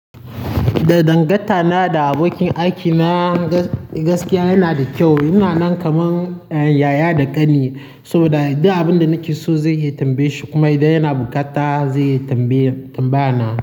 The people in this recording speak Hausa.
Da dangantana da abokin aikina gaskiya yana da kyau. Yana nan kaman yaya da ƙani saboda duk abin da nake so zai yi tambaye shi kuma idan yana buƙata zai yi tambaya, tambaya na.